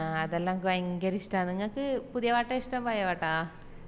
ആഹ് അതെല്ലെനക്ക് ഭയങ്കര ഇഷ്ട്ടന്ന് ഇങ്ങക്ക് പുതിയ പാട്ടോ ഇഷ്ട്ടം പഴയേ പാട്ടോ